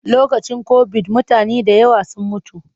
Lokacin kobid mutane da yawa sun mutu.